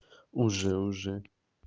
уже уже